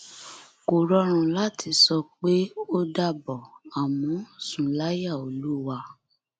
kò rọrùn láti sọ pé ó dàbọ àmọ sùn láyà olúwa